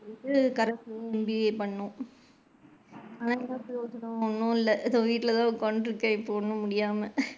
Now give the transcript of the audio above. corres ல MBA பண்ணுனேன் ஒன்னும் இல்ல so வீட்ல தான் உட்காந்துட்டு இருக்கேன் இப்போ ஒன்னும் முடியாமா.